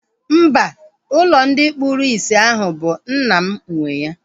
Mba, ụlọ ndị kpụrụ isi ahụ bụ nna m nwee ya